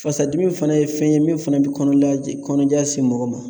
Fasadimi fana ye fɛn ye min fana bɛ kɔnɔja se mɔgɔ ma